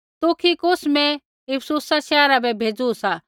तुखिकुस मैं इफिसुसा शैहरा बै भेज़ू सा